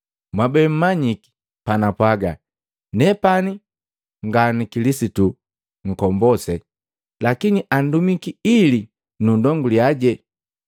Mwabe mmanyiki panapwaga, ‘Nepani nga na Kilisitu Nkombose, lakini andumiki ili nundonguliyaje.’